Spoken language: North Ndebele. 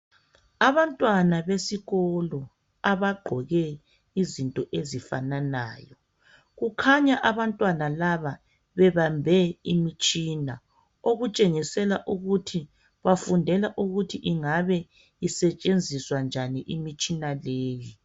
Abantwana besikolo abagqoke izinto ezifananayo kukhanya abantwana laba bebambe imitshina okutshengisela ukuthi bafundela ukuthi ingabe isetshenziswa njani imitshina leyi